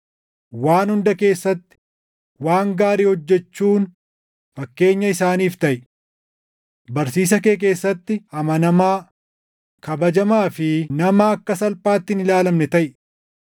Waan hunda keessatti waan gaarii hojjechuun fakkeenya isaaniif taʼi. Barsiisa kee keessatti amanamaa, kabajamaa fi nama akka salphaatti hin ilaalamne taʼi;